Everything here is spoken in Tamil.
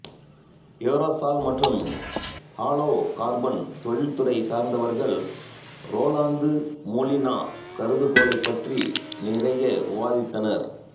எரோசால் மற்றும் ஹாலோகார்பன் தொழில் துறையை சார்ந்தவர்கள் ரோலாந்து மோலினா கருதுகோளைப்பற்றி நிறைய விவாத்தித்தனர்